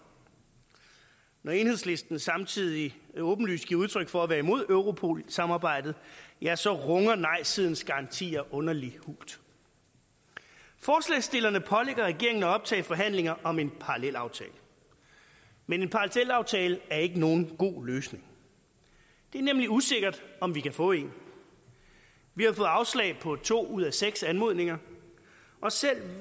når enhedslisten samtidig åbenlyst giver udtryk for at være imod europol samarbejdet ja så runger nejsidens garantier underlig hult forslagsstillerne pålægger regeringen at optage forhandlinger om en parallelaftale men en parallelaftale er ikke nogen god løsning det er nemlig usikkert om vi kan få en vi har fået afslag på to ud af seks anmodninger og selv